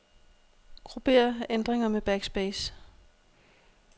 Grupper ændringer med backspace.